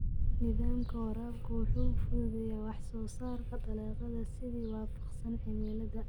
Nidaamka waraabka wuxuu fududeeyaa wax soo saarka dalagyada si waafaqsan cimilada.